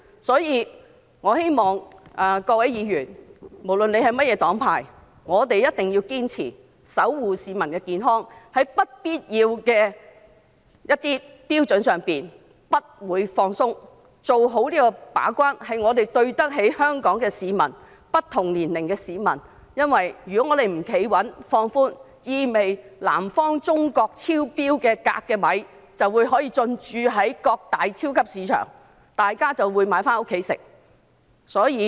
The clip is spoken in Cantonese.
因此，我希望各位議員，無論是甚麼黨派，必定要堅持守護市民的健康，在有關標準上不放鬆，做好把關的工作，我們要對得起香港不同年齡的市民，因為如果我們不穩守標準而予以放寬的話，這意味着中國南方鎘含量超標的米將可以進駐各大超級市場，大家便會買回家進食。